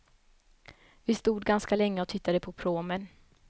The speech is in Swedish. Vi stod ganska länge och tittade på pråmen.